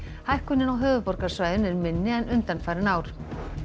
hækkunin á höfuðborgarsvæðinu er minni en undanfarin ár